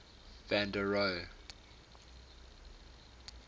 van der rohe